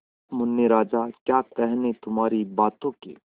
मुन्ने राजा क्या कहने तुम्हारी बातों के